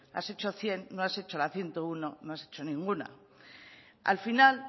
has hecho cien no has hecho la ciento uno no has hecho ninguna al final